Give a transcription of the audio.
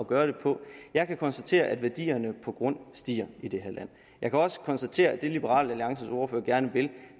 gøre det på jeg kan konstatere at værdierne på grund stiger i det her land jeg kan også konstatere at det liberal alliances ordfører gerne vil